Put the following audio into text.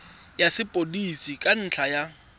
ya sepodisi ka ntlha ya